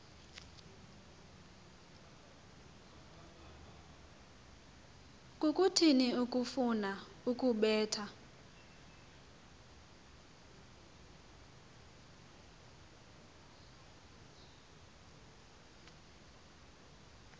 kukuthini ukufuna ukubetha